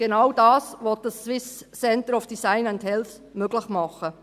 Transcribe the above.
Genau dies will dieses SCDH möglich machen.